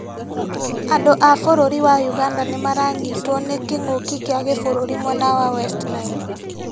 Andũ a Bũrũri wa ũganda nĩmaranyitwo nĩ kĩngũki kia gĩbũrũri mwena wa West Nile